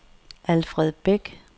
Alfred Beck